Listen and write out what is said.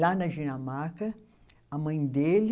Lá na Dinamarca, a mãe dele.